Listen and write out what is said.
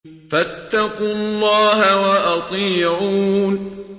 فَاتَّقُوا اللَّهَ وَأَطِيعُونِ